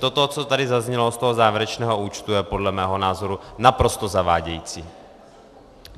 Toto, co tady zaznělo z toho závěrečného účtu, je podle mého názoru naprosto zavádějící.